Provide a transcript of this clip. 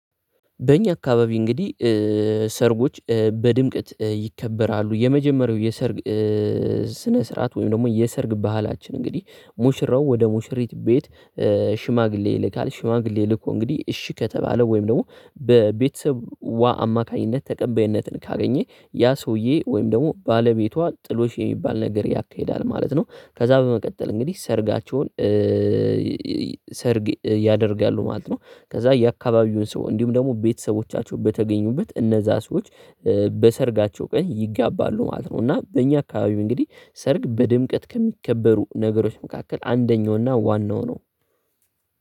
በእኛ አካባቢ እንግዲህ ሰርጎች በድምቅት ይከበራሉ። የመጀመሪያው የሰርግ ስነ ስ ስርዓት ወይም ደግሞ የሰርግ ባህላችን እንግዲህ ሙሽራው ወደ ሙሽሪት ቤት ሽማግሌ ይልካል ሽማግሌ ይልኮ እንግዲህ እሺ ከተባለ ወይም ደግሞ በቤተሰቧ አማካኝነት ተቀባይነትን ካገኘ ያ ሰውዬ ወይም ደግሞ ባለቤቷ ጥሎሽ የሚባል ነገር ያካሂዳል ማለት ነው። ከዛ በመቀጠል እንግዲህ ሰርጋቸውን ሰርግ ያደርጋሉ ማለት ነው። ከዛ የአካባቢውን ሰው እንዲሁም ደግሞ ቤተሰቦቻቸው በተገኙበት እነዛ ሰዎች በሰርጋቸው ቀን ይጋባሉ ማለት ነው። እና በእኛ አካባቢው እንግዲህ ሰርግ በድምቀት ከሚከበሩ ነገሮች መካከል አንደኛውና ዋናው ነው።